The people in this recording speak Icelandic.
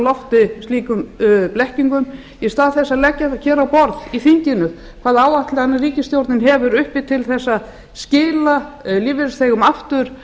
lofti slíkum blekkingum í stað þess að leggja hér á borð í þinginu hvaða áætlanir ríkisstjórnin hefur uppi til að skila lífeyrisþegum aftur